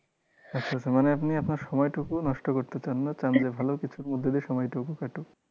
আচ্ছা আচ্ছা মানে আপনি আপনার সময় টুকুও নষ্ট করতে চান না, চান যে ভালো কিছুর মধ্য দিয়ে সময় টুকু কাটুক।